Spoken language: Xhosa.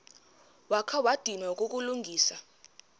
wakha wadinwa kukulungisa